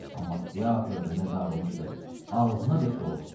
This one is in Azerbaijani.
Amma teatrdır nə dağılmışdı, ağzınadək dolu.